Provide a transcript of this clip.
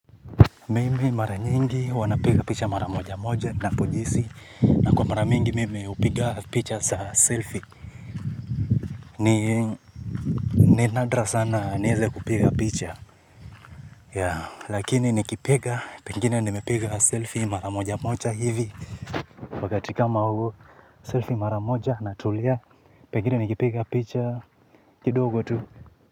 Mimi mara nyingi huwa napiga picha mara moja moja ninapojisihi na kwa mara mingi mimi hupiga picha za selfie. Ni nadra sana niweze kupiga picha. Lakini nikipiga, pengine nimepiga selfie mara moja moja hivi. Wakati kama huo selfie mara moja na tulia pengine nikipiga picha kidogo tu.